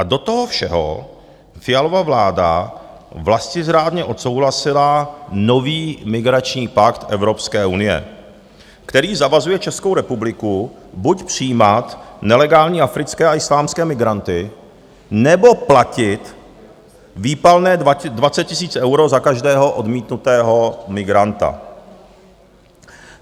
A do toho všeho Fialova vláda vlastizrádně odsouhlasila nový migrační pakt Evropské unie, který zavazuje Českou republiku buď přijímat nelegální africké a islámské migranty, nebo platit výpalné 20 000 eur za každého odmítnutého migranta.